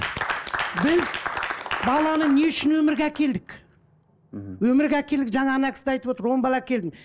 біз баланы не үшін өмірге әкелдік мхм өмірге әкелдік жаңа кісі де айтып отыр он бала әкелдім